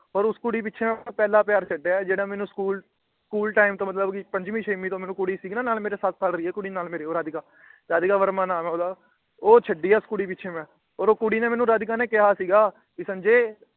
ਪਰ ਉਸ ਕੁੜੀ ਪਿੱਛੇ ਮੈ ਆਪਣਾ ਪਹਿਲਾ ਪਿਆਰ ਛੱਡਿਆ ਜਿਹੜਾ ਮੈਨੂੰ ਸਕੂਲ ਟਾਈਮ ਮਤਲਬ ਕੀ ਪੰਜਵੀ ਛੇਵੀ ਤੋਂ ਕੁੜੀ ਸੀ ਗੀ ਨਾ ਨਾਲ ਮੇਰੇ ਸੱਤ ਸਾਲ ਰਹੀ ਏ ਨਾਲ ਮੇਰੇ ਰਾਧਿਕਾ। ਰਾਧਿਕਾ ਵਰਮਾ ਨਾਮ ਉਹਦਾ ਉਹ ਛੱਡੀ ਏ ਉਸ ਕੁੜੀ ਪਿੱਛੇ ਮੈ। ਓਹ ਕੁੜੀ ਨੇ ਰਾਧਿਕਾ ਨੇ ਮੈਨੂੰ ਕਿਹਾ ਸੀ ਗਾ ਸੰਜੇ